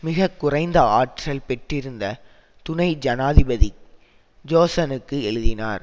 மிக குறைந்த ஆற்றல் பெற்றிருந்த துணை ஜனாதிபதி ஜோசனுக்கு எழுதினார்